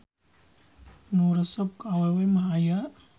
Nu resep ka awewe mah aya.